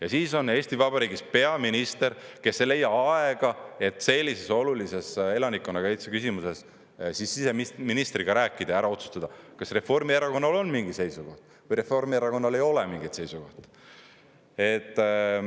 Ja siis on Eesti Vabariigis peaminister, kes ei leia aega, et sellises olulises elanikkonnakaitse küsimuses siseministriga rääkida ja ära otsustada, kas Reformierakonnal on mingi seisukoht või Reformierakonnal ei ole mingeid seisukohti.